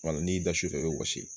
Wala n'i da sufɛ i bɛ wɔsi